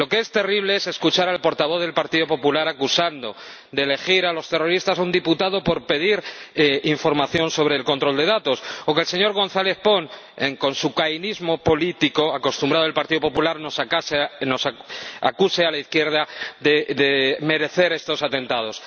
Lo que es terrible es escuchar al portavoz del Partido Popular acusando de elegir a los terroristas a un diputado por pedir información sobre el control de datos o que el señor González Pons, con su cainismo político acostumbrado del Partido Popular, nos acuse a la izquierda de merecer estos atentados.